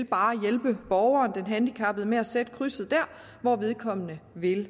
bare vil hjælpe borgeren den handicappede med at sætte krydset der hvor vedkommende vil